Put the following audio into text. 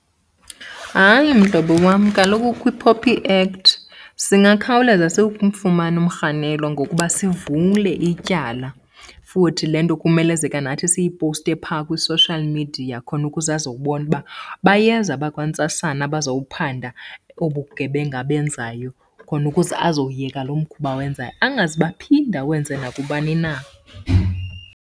Hayi mhlobo wam, kaloku kwiPOPI Act singakhawuleza simfumane umrhanelwa ngokuba sivule ityala. Futhi le nto kumelezeka nathi siyiposte phaa kwi-social media khona ukuze azobona uba bayeza abakwantsasana abazowuphanda obu bugebenga abenzayo, khona ukuze azowuyeka lo mkhuba awenzayo angazube aphinde awenze nakubani na.